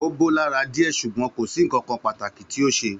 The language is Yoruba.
Ó bó lára dìé sùgbón kòsí nkankan pàtàkì tí o ṣe